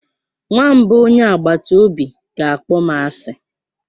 Nwamba onye agbata obi ga-akpọ m asị.